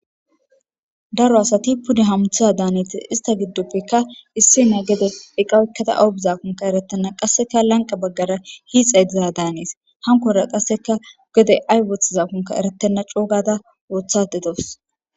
daro asati pude hamuthiza daaneti ista giddoppekka issi na gede eqawykkata awubizakonka eretenna qasseka lanqa baggara hiixa y diza daanees hankora qasseka gede aywoth zaakonka eretenna coogada woothadedoos